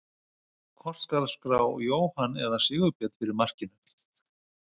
Hvort skal skrá Jóhann eða Sigurbjörn fyrir markinu?